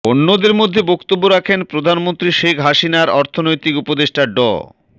অন্যদের মধ্যে বক্তব্য রাখেন প্রধানমন্ত্রী শেখ হাসিনার অর্থনৈতিক উপদেষ্টা ড